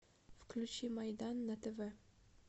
включи майдан на тв